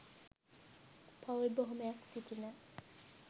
පවූල් බොහොමයක් සිටින